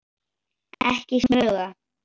Ekki smuga!